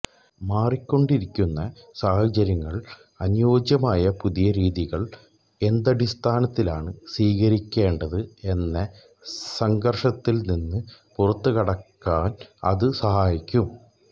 മാറിക്കൊണ്ടിരിക്കുന്ന സാഹചര്യങ്ങളില് അനുയോജ്യമായ പുതിയ രീതികള് എന്തടിസ്ഥാനങ്ങളിലാണ് സ്വീകരിക്കേണ്ടത് എന്ന സംഘര്ഷത്തില്നിന്ന് പുറത്തുകടക്കാന് അത് സഹായിക്കും